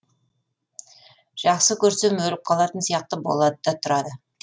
жақсы көрсем өліп қалатын сияқты болады да тұрады